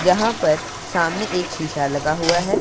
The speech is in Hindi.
जहां पर सामने एक शीशा लगा हुआ है।